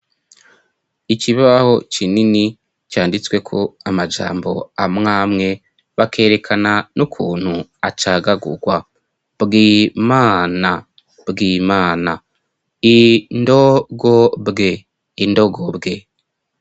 Ikibaho kinini canditsweko amajambo amwamwe bakerekana n'ukuntu acagagurwa: bwi mana, Bwimana, i ndo go bwe, Indogobwe.